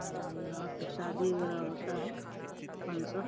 और यहाँ पे शादी वगैरह होता है। फंक्शन --